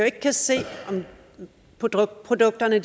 ikke kan se om produkterne